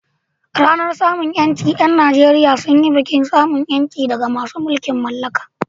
A ranar samun ƴanci, ƴan Nageriya sun yi bikin samun ƴanci daga masu mulkin mallaka.